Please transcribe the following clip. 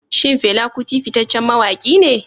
Shin Fela Kuti fitaccen mawaki ne?